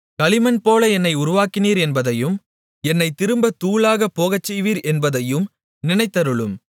களிமண்போல என்னை உருவாக்கினீர் என்பதையும் என்னைத் திரும்பத் தூளாகப்போகச் செய்வீர் என்பதையும் நினைத்தருளும்